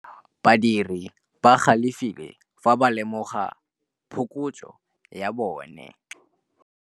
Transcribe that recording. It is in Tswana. Badiri ba galefile fa ba lemoga phokotsô ya tšhelête ya bone.